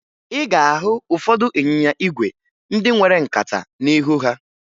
Ị ga-ahụ ụfọdụ ịnyịnya ígwè ndị nwere nkata n'ihu ha